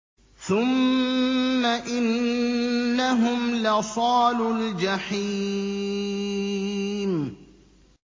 ثُمَّ إِنَّهُمْ لَصَالُو الْجَحِيمِ